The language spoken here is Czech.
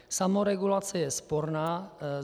Samoregulace je sporná.